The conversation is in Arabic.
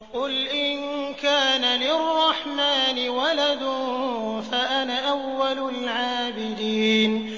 قُلْ إِن كَانَ لِلرَّحْمَٰنِ وَلَدٌ فَأَنَا أَوَّلُ الْعَابِدِينَ